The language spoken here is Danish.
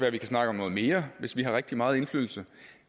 at vi kan snakke om noget mere hvis vi har rigtig meget indflydelse